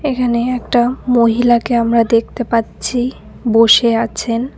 এখানে একটা মহিলাকে আমরা দেখতে পাচ্ছি বসে আছেন।